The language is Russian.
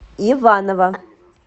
иваново